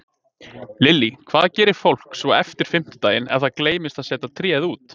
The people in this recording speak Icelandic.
Lillý: Hvað gerir fólk svo eftir fimmtudaginn ef að það gleymdi að setja tréð út?